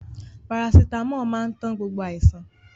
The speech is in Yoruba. Parasitámọ̀ máa ń tán gbogbo àìsàn.